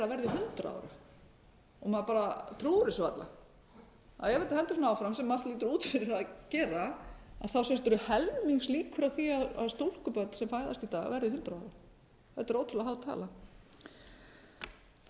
hundrað ára maður bara trúir þessu varla ef þetta heldur svona áfram sem allt lítur út fyrir það að gera séu helmings líkur á því að stúlkubörn sem fæðast í dag verði hundrað ára